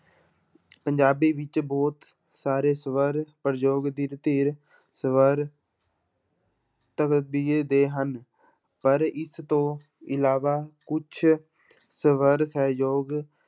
ਪੰਜਾਬੀ ਵਿੱਚ ਬਹੁਤ ਸਾਰੇ ਸਵਰ ਪ੍ਰਯੋਗ ਸਵਰ ਦੇ ਹਨ ਪਰ ਇਸ ਤੋਂ ਇਲਾਵਾ ਕੁਛ ਸਵਰ ਸਹਿਯੋਗ